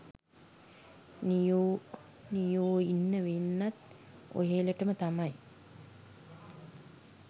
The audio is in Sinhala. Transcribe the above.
නියෝ නියෝඉන්න වෙන්නෙත් ඔහෙලටම තමයි